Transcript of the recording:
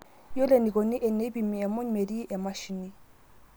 Yiolo enikoni eneipimi emuny metii emashini